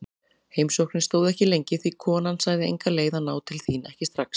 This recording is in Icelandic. Heimsóknin stóð ekki lengi því konan sagði enga leið að ná til þín, ekki strax.